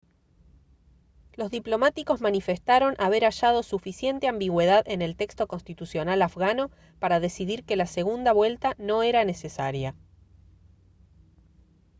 los diplomáticos manifestaron haber hallado suficiente ambigüedad en el texto constitucional afgano para decidir que la segunda vuelta no era necesaria